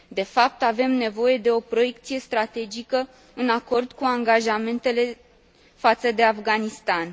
De fapt, avem nevoie de o proiecție strategică în acord cu angajamentele față de Afganistan.